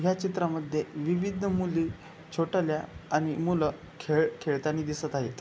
ह्या चित्रामध्ये विविध मुली छोटल्या आणि मुल खेळ खेळतानी दिसत आहेत.